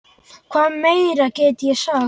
Hvað meira get ég sagt?